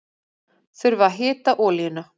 Þurfa að hita olíuna